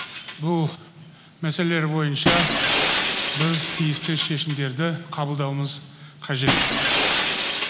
бұл мәселелер бойынша біз тиіс шешімдерді қабылдауымыз қажет